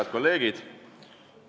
Head kolleegid!